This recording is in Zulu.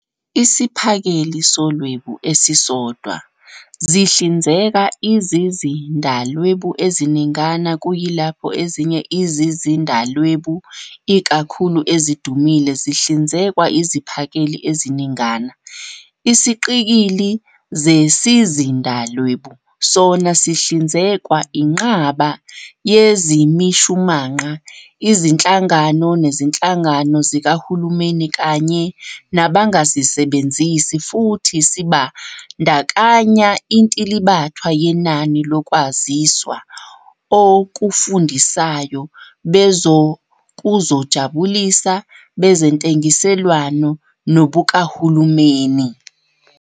Isiphakeli soLwebu esisodwa zihlinzeka izizindalwebu eziningana, kuyilapho ezinye izizindalwebu, ikakhulu ezidumile, zihlinzekwa iziphakeli eziningana. Isiqikili zesizindalwebu sona sihlinzekwa inqaba yezimishumanqa, izinhlangano, nezinhlangano zikahulumeni, kanye nangabasebenzisi, futhi sibandakanya intilibathwa yenani lokwaziswa okufundisayo, bezokuzojabulisa, bezentengiselwano, nobukahulumeni.